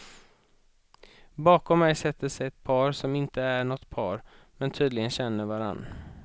Bakom mig sätter sig ett par, som inte är nåt par men tydligen känner varann.